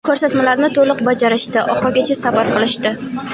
Ko‘rsatmalarni to‘liq bajarishdi, oxirigacha sabr qilishdi.